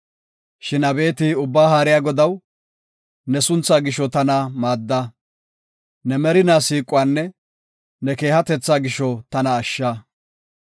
Shin abeeti Ubbaa Haariya Godaw, ne suntha gisho tana maadda. Ne merinaa siiquwanne ne keehatetha gisho tana ashsha.